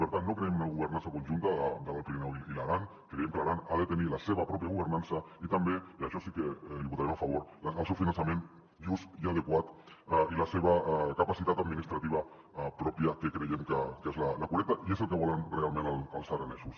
per tant no creiem en una governança conjunta de l’alt pirineu i l’aran creiem que l’aran ha de tenir la seva pròpia governança i també i això sí que l’hi votarem a favor el seu finançament just i adequat i la seva capacitat administrativa pròpia que creiem que és la correcta i és el que volen realment els aranesos